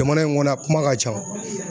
Jamana in kɔnɔ a kuma ka ca